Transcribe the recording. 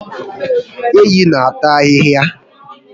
Ehi n'ata ahịhịa